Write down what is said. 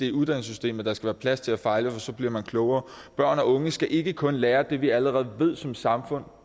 i uddannelsessystemet der skal være plads til at fejle for så bliver man klogere børn og unge skal ikke kun lære det vi allerede ved som samfund